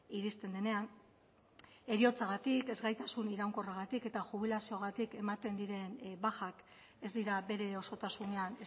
iristen denean heriotzagatik ezgaitasun iraunkorragatik eta jubilazioagatik ematen diren bajak ez dira bere osotasunean